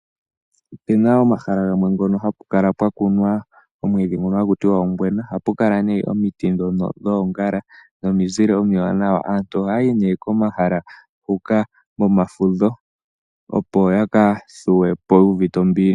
Ope na omahala gamwe ngono hapu kala pwa kuna oomwiidhi ngono haku tiwa ongwena. Ohapu kala nee omiti ndhono dhoongala nominzile omiwanawa. Aantu ohaya yi komahala ngoka pomafudho opo ya ka thuwe po yu u vite ombili.